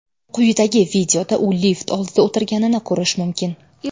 Quyidagi videoda u lift oldida o‘tirganini ko‘rish mumkin.